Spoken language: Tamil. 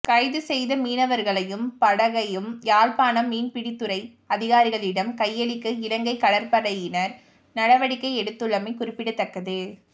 கைதுசெய்த மீனவர்களையும் படகையும் யாழ்ப்பாணம் மீன்பிடித்துறை அதிகாரிகளிடம் கையளிக்க இலங்கை கடற்படையினர் நடவடிக்கை எடுத்துள்ளமை குறிப்பிடத்தக்கது